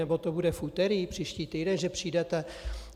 Nebo to bude v úterý příští týden, že přijdete?